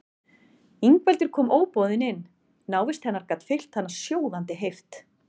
Ingveldur kom óboðin inn, návist hennar gat fyllt hann sjóðandi heift.